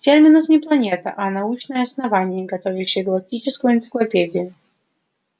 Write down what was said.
терминус не планета а научное основание готовящее галактическую энциклопедию